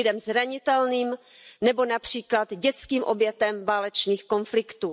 Lidem zranitelným nebo například dětským obětem válečných konfliktů.